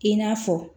I n'a fɔ